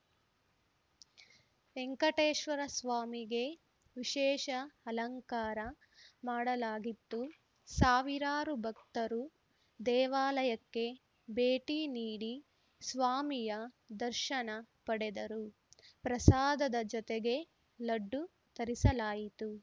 ವೆಂಕಟೇಶ್ವರ ಸ್ವಾಮಿಗೆ ವಿಶೇಷ ಅಲಂಕಾರ ಮಾಡಲಾಗಿತ್ತು ಸಾವಿರಾರು ಭಕ್ತರು ದೇವಾಲಯಕ್ಕೆ ಭೇಟಿ ನೀಡಿ ಸ್ವಾಮಿಯ ದರ್ಶನ ಪಡೆದರು ಪ್ರಸಾದದ ಜೊತೆಗೆ ಲಡ್ಡು ತರಿಸಲಾಯಿತು